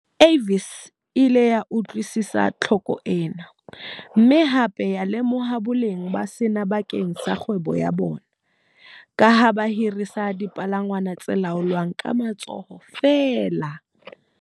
Avis e ile ya utlwisisa tlhoko ena, mme hape ya lemoha boleng ba sena bakeng sa kgwebo ya bona, ka ha ba hirisa dipalangwang tse laolwang ka matsoho feela.